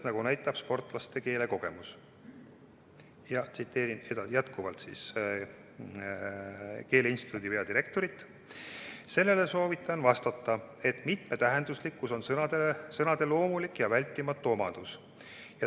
" Ja tsiteerin jätkuvalt keeleinstituudi peadirektorit: "Sellele soovitan vastata, et mitmetähenduslikkus on sõnade loomulik ja vältimatu omadus.